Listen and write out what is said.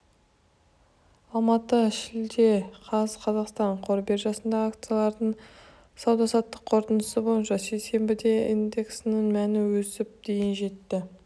алматы шілде қаз қазақстан қор биржасындағы акциялардың сауда-саттық қорытындысы бойынша сейсенбіде индексінің мәні өсіп дейін жетті